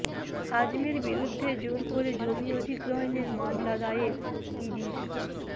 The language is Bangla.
আজমের বিরুদ্ধে জোর করে জমি অধিগ্রহণের মামলা দায়ের ইডির